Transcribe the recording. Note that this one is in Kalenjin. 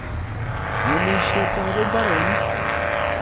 Ng'emisietab imbaronik